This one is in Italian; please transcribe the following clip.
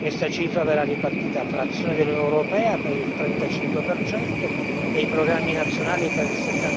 Questa cifra verrà ripartita fra azione dell'Unione europea per il 35 e i programmi nazionali per il